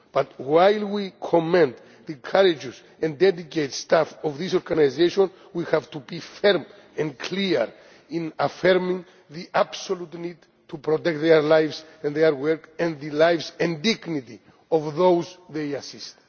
But while we commend the courageous and dedicated staff of these organisations, we have to be firm and clear in affirming the absolute need to protect their lives and their work, and the lives and dignity of those they assist.